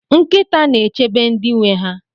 Nkịta na-echebe ndị nwe ha.